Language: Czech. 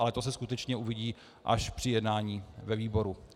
Ale to se skutečně uvidí až při jednání ve výboru.